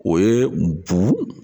O ye bu